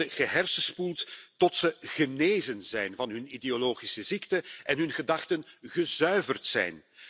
Ze worden gehersenspoeld tot ze genezen zijn van hun ideologische ziekte en hun gedachten gezuiverd zijn.